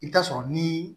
I bɛ taa sɔrɔ ni